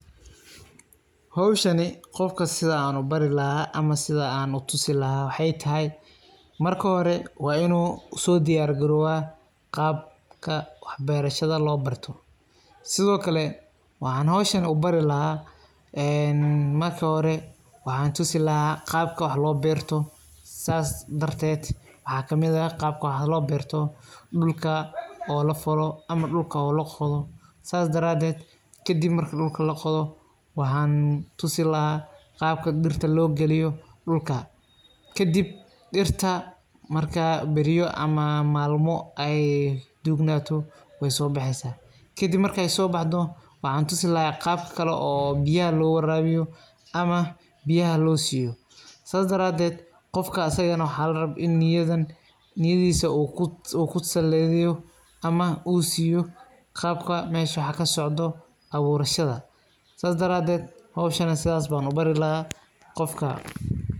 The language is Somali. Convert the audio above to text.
Howshani sidan ubari laxa ama sidan utusi laxa waxay taxay marka hore waa inusoodiyar garowa qabka wax beerashada loo barto sidokale waxan howshan ubari laxa een marka hore waxan tusi laxa qabka wax looberto sas darted waxa kamid ah qabka wax loberto dula oo lafalo ama dulka oo laqoda kadib marka dulka laqoda waxan tusi laxa qabka dirta loo galiyo dulka kadib dirta marka beriyo ama malmo ay dugnato wayso baxeysa kadib markay sobaxdo waxan tusi laxa qabka oo biyaxa loo warabiyo ama biyaxa sida loosiyo sas daraded qofka asaga nex waxa larab in niyadisa u kusaladiyo ama uu siyo qabka mesha wax kasocda aburashada sas daraded howshani sidas ayan ubari laxa qofka.